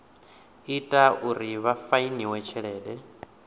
ita uri vha fainiwe tshelede